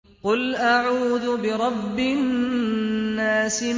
قُلْ أَعُوذُ بِرَبِّ النَّاسِ